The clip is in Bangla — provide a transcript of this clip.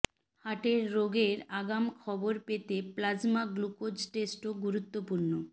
হার্টের রোগের আগাম খবর পেতে প্লাজমা গ্লুকোজ টেস্টও গুরুত্বপূর্ণ